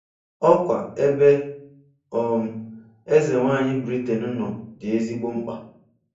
Ọkwa ebe um Ezenwanyị Britain nọ dị ezigbo mkpa.